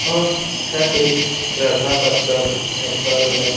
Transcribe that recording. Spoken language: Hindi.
और छट एक श्रद्धा का परव है पर्व है।